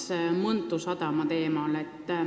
Jätkan Mõntu sadama teemal.